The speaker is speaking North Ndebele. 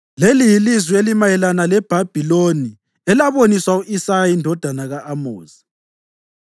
Leli yilizwi elimayelana leBhabhiloni elaboniswa u-Isaya indodana ka-Amozi: